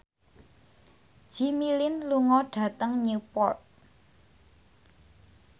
Jimmy Lin lunga dhateng Newport